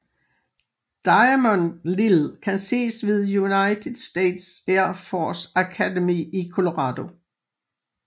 Diamond Lil kan ses ved United States Air Force Academy i Colorado